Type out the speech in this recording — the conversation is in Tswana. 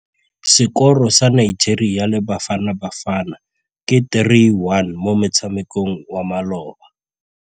Sekôrô sa Nigeria le Bafanabafana ke 3-1 mo motshamekong wa malôba.